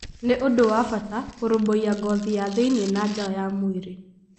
Nĩ ũndũ wa bata kũrũmbũiya ngothi ya thĩinĩ na nja ya mwĩrĩ.